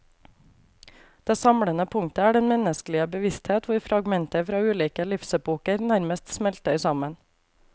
Det samlende punktet er den menneskelige bevissthet hvor fragmenter fra ulike livsepoker nærmest smelter sammen.